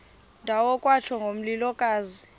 ndawo kwatsho ngomlilokazi